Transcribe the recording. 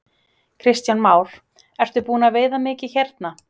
Kristján Már: Ertu búinn að veiða mikið hérna?